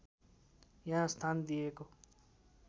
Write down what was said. यहाँ स्थान दिएको